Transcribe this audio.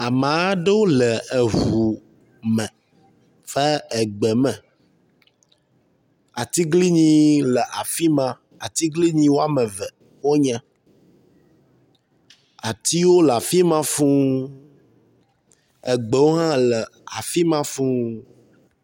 Amea ɖewo le eŋu me va egbe me. Atiglinyiwo le afi ma, atiglinyi woame wonye, atiwo le afi ma fuu, egbewo hã le afi ma fuu.